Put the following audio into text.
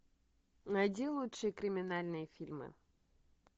найди лучшие криминальные фильмы